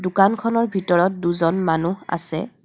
দোকান খনৰ ভিতৰত দুজন মানুহ আছে.